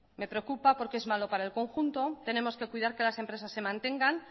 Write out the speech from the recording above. me preocupa porque es malo para el conjunto tenemos que cuidar que las empresas se mantengan